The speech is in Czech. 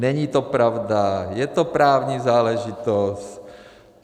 Není to pravda, je to právní záležitost.